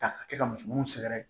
Ta ka kɛ ka muso munnu sɛgɛrɛ